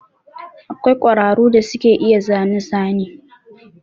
Akwai ƙwararu da suke iya zane zane.